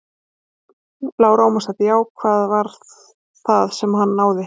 Lára Ómarsdóttir: Já, hvað var það sem að hann náði?